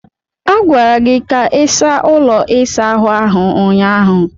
A gwara gị ka ị saa ụlọ ịsa ahu ahụ ụnyaahụ.